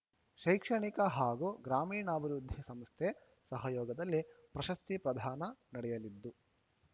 ಶೈಕ್ಷಣಿಕ ಹಾಗೂ ಗ್ರಾಮೀಣಾಭಿವೃದ್ಧಿ ಸಂಸ್ಥೆ ಸಹಯೋಗದಲ್ಲಿ ಪ್ರಶಸ್ತಿ ಪ್ರದಾನ ನಡೆಯಲಿದ್ದು